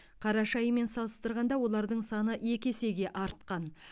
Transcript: қараша айымен салыстырғанда олардың саны екі есеге артқан